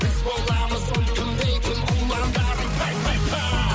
біз боламыз ұлттың дейтін ұландары пай пай пай